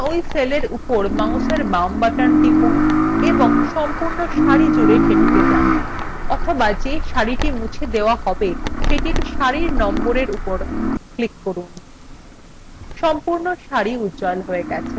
এখন ওই cellএর উপর মাউসের বাম button টিপুন এবং সম্পূর্ণ সারি জুড়ে সেটিকে টানুন অথবা যে সারিটি মুছে দেওয়া হবে সেটির সারির number উপর click করুন সম্পূর্ণ সারি উজ্জ্বল হয়ে গেছে